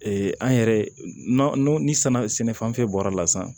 an yɛrɛ n'o ni sɛnɛ sɛnɛ fan fɛn bɔra la sisan